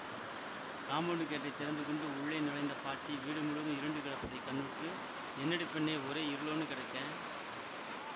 compound கேட்டை திறந்துகொண்டு உள்ளே நுழைந்த பாட்டி வீடு முழுவதும் இருண்டு கிடப்பதை கண்ணுற்று என்னடி பெண்ணே ஒரே இருளோன்னு கெடக்கே